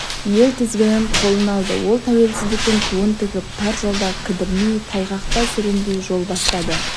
ел тізгінін қолына алды ол тәуелсіздіктің туын тігіп тар жолда кідірмей тайғақта сүрінбей жол бастады